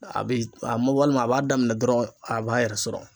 A bɛ a mɔ walima a b'a daminɛ dɔrɔn a b'a yɛrɛ sɔrɔ.